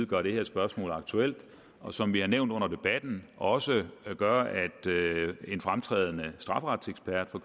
gør det her spørgsmål aktuelt og som vi har nævnt under debatten også gør at en fremtrædende strafferetsekspert fra